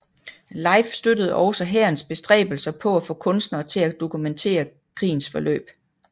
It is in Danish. LIFE støttede også hærens bestræbelser på at få kunstnere til at dokumentere krigens forløb